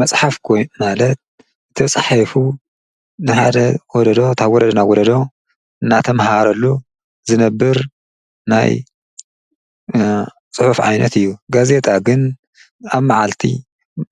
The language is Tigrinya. መፅሓፍ ማለት ተፃሒፉ ንሓደ ወለዶ ካብ ወለዶ ናብ ወለዶ ናተመሃረሉ ዝነብር ናይ ፅሑፍ ዓይነት እዩ ጋዜጣ ግን ኣብ መዓልቲ